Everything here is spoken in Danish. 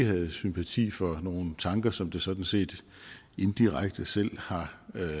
havde sympati for nogle tanker som det sådan set indirekte selv har